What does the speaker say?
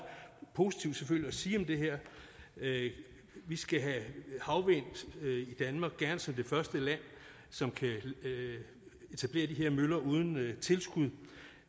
positivt at sige om det her vi skal have havvind i danmark og gerne som det første land som kan etablere de her møller uden tilskud